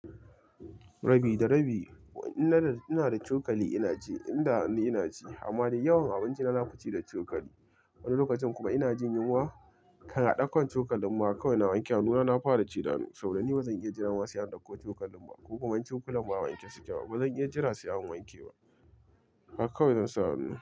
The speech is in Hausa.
Rabi da rabi ina da cokali ina ci, inda hannu ina ci. Amma dai yawan abinci na, na fi ci da cokali. Wani lokacin kuma ina jin yunwa, kan a ɗaukan cokalin ma kawai na wanke hannuna, na fara ci da hannu. Saurani ba zan iya jira ma sai an dauko cokalin ba, ko kuma in cokulan ba wanke suke ba. Ba zan iya jira sai an wanke ba. Haka kawai zan sa hannu.